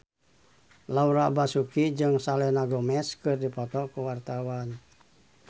Laura Basuki jeung Selena Gomez keur dipoto ku wartawan